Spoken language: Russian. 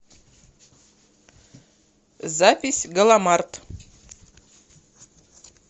запись галамарт